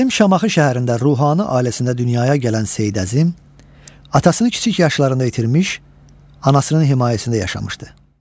Qədim Şamaxı şəhərində ruhani ailəsində dünyaya gələn Seyid Əzim atasını kiçik yaşlarında itirmiş, anasının himayəsində yaşamışdı.